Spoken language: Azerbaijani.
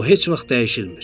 O heç vaxt dəyişilmir.